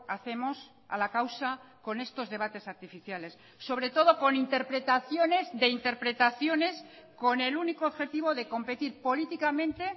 hacemos a la causa con estos debates artificiales sobre todo con interpretaciones de interpretaciones con el único objetivo de competir políticamente